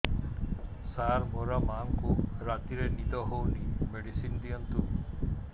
ସାର ମୋର ମାଆଙ୍କୁ ରାତିରେ ନିଦ ହଉନି ମେଡିସିନ ଦିଅନ୍ତୁ